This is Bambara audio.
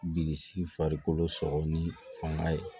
Bililisi farikolo sɔgɔ ni fanga ye